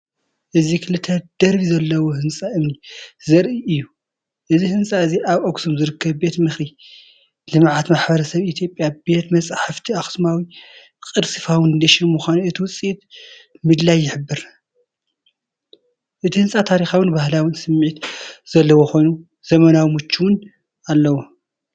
እዚ ክልተ ደርቢ ዘለዎ ህንጻ እምኒ ዘርኢ እዩ። እዚ ህንፃ እዚ ኣብ ኣክሱም ዝርከብ ቤት ምኽሪ ልምዓት ማሕበረሰብ ኢትዮጵያ ቤተ መፃሕፍቲ ኣኽሱማዊ ቅርሲ ፋውንዴሽን ምዃኑ እቲ ውፅኢት ምድላይ ይሕብር። እቲህንጻ ታሪኻውን ባህላውን ስምዒት ዘለዎ ኮይኑ፣ ዘመናዊን ምቹእነት ኣለዎ።